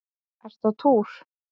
Ertu á túr?